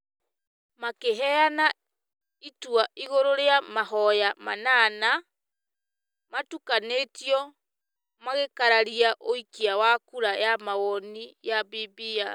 makĩheana itua igũrũ rĩa mahoya inyanya itukanĩtio igĩkararia ũikia wa kura ya mawoni ya BBI.